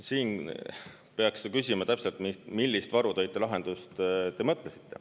Siin peaks seda küsima täpselt, millist varutoitelahendust te mõtlesite.